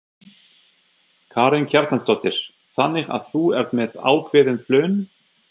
Karen Kjartansdóttir: Þannig að þú ert með ákveðin plön?